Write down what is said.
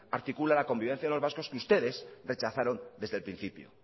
articula la convivencia de los vascos que ustedes rechazaron desde el principio